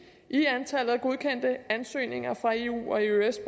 i antallet af godkendte ansøgninger fra eu og eøs